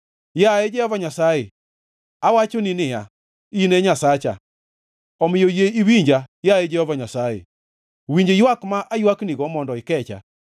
Yaye Jehova Nyasaye, awachoni niya, “In Nyasacha.” Omiyo yie iwinja, yaye Jehova Nyasaye, winj ywak ma aywaknigo mondo ikecha.